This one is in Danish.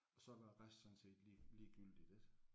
Så var resten sådan set lige ligegyldigt ik